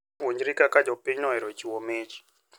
Puonjri kaka jopinyno ohero chiwo mich.